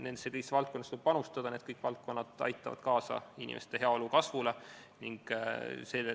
Nendesse kõigisse valdkondadesse tuleb panustada ja need kõik valdkonnad aitavad kaasa inimeste heaolu kasvule.